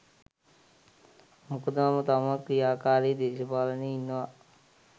මොකද මම තවමත් ක්‍රියාකාරි දේශපාලනයේ ඉන්නවා.